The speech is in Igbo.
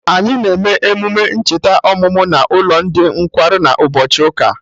Anyị na eme emume ncheta ọmụmụ n'ụlọ ndị nkwarụ na ụbọchị ụka